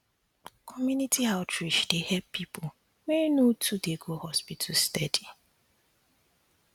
community outreach dey help people wey no too dey go hospital steady